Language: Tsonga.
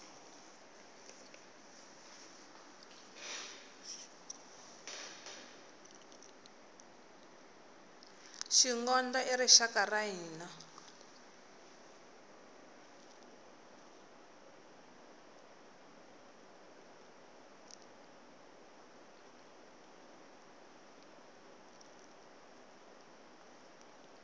xingondo i ri xaku ra hina